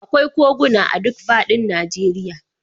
Akwai koguna a duk fadin Najeriya.